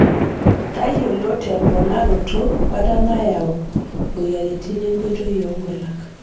Tayiolo temponaroto bata nayau moyiaritin enkoitoi oonkulak.